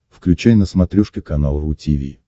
включай на смотрешке канал ру ти ви